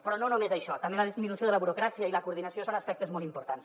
però no només això també la disminució de la burocràcia i la coordinació són aspectes molt importants